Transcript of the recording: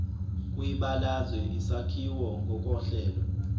kwibalazwe isakhiwo ngokohlelo